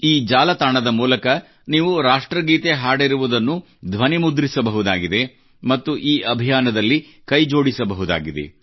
ಈ ಜಾಲತಾಣದ ಮೂಲಕ ನೀವು ರಾಷ್ಟ್ರಗೀತೆ ಹಾಡಿರುವುದನ್ನು ಧ್ವನಿಮುದ್ರಿಸಬಹುದಾಗಿದೆ ಮತ್ತು ಈ ಅಭಿಯಾನದೊಂದಿಗೆ ಕೈಜೋಡಿಸಬಹುದಾಗಿದೆ